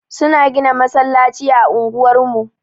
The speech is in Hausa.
Suna gina masallaci a unguwar mu.